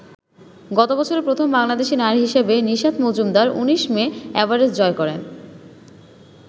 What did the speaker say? গত বছর প্রথম বাংলাদেশী নারী হিসেবে নিশাত মজুমদার ১৯ মে এভারেস্ট জয় করেন।